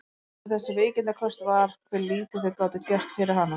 Það versta við þessi veikindaköst var hve lítið þau gátu gert fyrir hana.